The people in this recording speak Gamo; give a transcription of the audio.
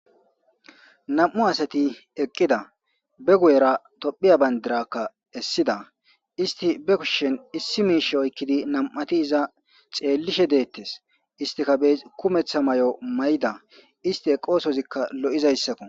Nam'u asati eqqida, guye baggara woyra Toppiya bandiraakka essida. Issi ba kushen issi miishaka oykkidi nam'atishe tseellishe de'etees. Isstika ba kumetsa mayo mayda, isste oosoosikka lo'izayssako.